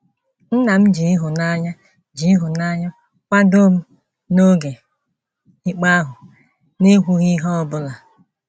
Nna m ji ịhụnanya ji ịhụnanya kwadoo m n’oge ikpe ahụ n’ekwughị ihe ọ bụla.